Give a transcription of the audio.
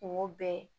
Kungo bɛɛ